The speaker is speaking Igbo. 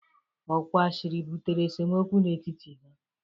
Ọ kwa ashịrị butere esemokwu n'etiti ha